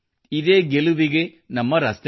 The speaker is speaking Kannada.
ಗೆಲುವಿಗೆ ಇದೇ ನಮ್ಮ ಹಾದಿಯಾಗಿದೆ